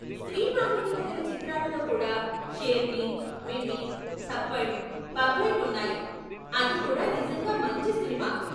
స్త్రీ ప్రాముఖ్యత కల చిత్రాలలో కూడా షేర్ని, మిమి, థప్పడ్, పగ్లైట్ ఉన్నాయి, అది కూడా నిజంగా మంచి సినిమా.